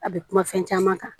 A bɛ kuma fɛn caman kan